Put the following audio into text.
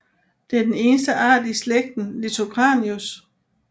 Det er den eneste art i slægten Litocranius